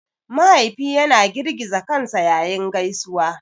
Mahaifi yana girgiza kansa yayin gaisuwa.